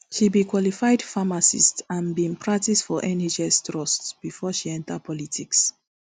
she be qualified pharmacist and bin practice for nhs trust bifor she enta politics